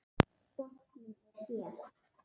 Botninn er hér!